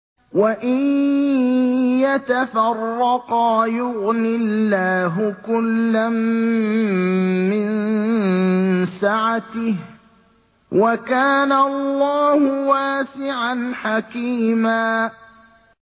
وَإِن يَتَفَرَّقَا يُغْنِ اللَّهُ كُلًّا مِّن سَعَتِهِ ۚ وَكَانَ اللَّهُ وَاسِعًا حَكِيمًا